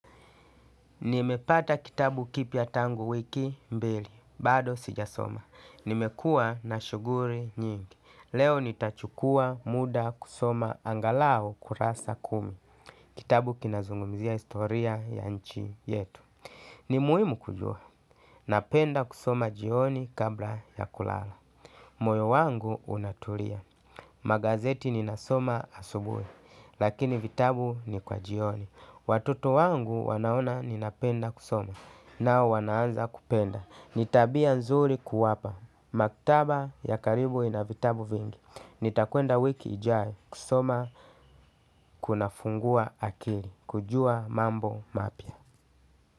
Nimepata kitabu kipiya tangu wiki mbili, bado sijasoma. Nimekua na shuguri nyingi. Leo nitachukua muda kusoma angalau kurasa kumi. Kitabu kinazungumizia historia ya nchi yetu. Ni muhimu kujua, napenda kusoma jioni kabla ya kulala. Moyo wangu unatulia, magazeti ninasoma asubuhi. Lakini vitabu ni kwa jioni. Watuto wangu wanaona ninapenda kusoma. Nao wanaanza kupenda. Ni tabia nzuri kuwapa. Maktaba ya karibu ina vitabu vingi. Nitakwenda wiki ijayo kusoma. Kuna fungua akili kujua mambo mapya.